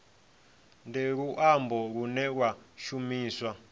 ndi luambo lune lwa shumiswa